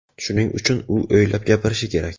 Shuning uchun u o‘ylab gapirishi kerak.